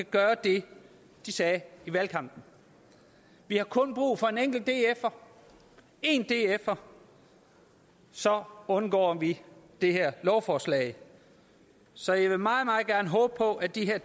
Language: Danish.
gør det de sagde i valgkampen vi har kun brug for en enkelt dfer én dfer så undgår vi det her lovforslag så jeg vil meget meget håbe på at de her